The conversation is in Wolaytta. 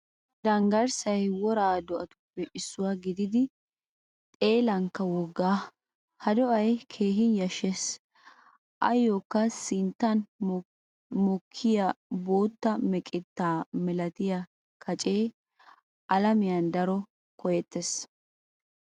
Danggarssay woraa doatuppe issuwaa gididi xeellankka woggaa. Ha do'ay keehin yashshees. Ayokka sinttan mokkiyaa bootta meqetta milatiya kacce alamiyan daro koyetees.